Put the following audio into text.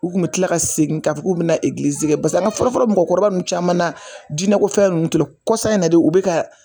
U kun bi kila ka segin k'u bi na basa an ka fɔlɔfɔlɔ mɔgɔkɔrɔba ninnu caman na diiinɛkɔfɛn ninnu t'u la kɔsa in na de u bɛ ka.